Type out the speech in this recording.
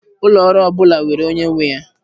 Ụlọ ọrụ ọ bụla nwere onye nwe ya.